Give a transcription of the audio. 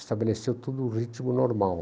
Estabeleceu tudo no ritmo normal.